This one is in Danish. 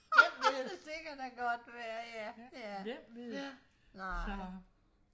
det kan da godt være ja ja ja så nej